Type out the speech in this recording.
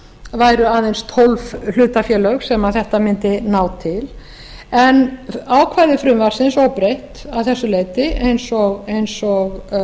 væru aðeins tólf hlutafélög sem þetta mundi nái en ákvæði frumvarpsins óbreytt að þessu leyti eins og